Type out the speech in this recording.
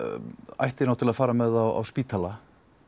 ætti náttúrulega að fara með þá á spítala